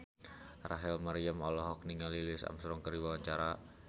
Rachel Maryam olohok ningali Louis Armstrong keur diwawancara